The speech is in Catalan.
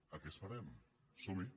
a què esperem somhi